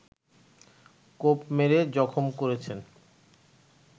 কোপ মেরে জখম করেছেন